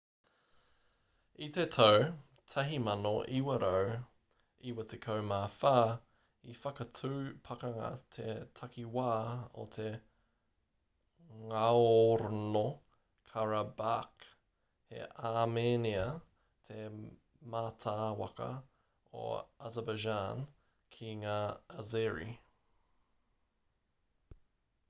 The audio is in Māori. i te tau 1994 i whakatū pakanga te takiwā o ngaorno-karabakh he āmenia te mātāwaka o azerbaijan ki ngā azeri